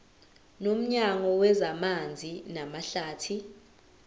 nomnyango wezamanzi namahlathi